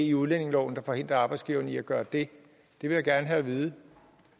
i udlændingeloven der forhindrer arbejdsgiverne i at gøre det det vil jeg gerne have at vide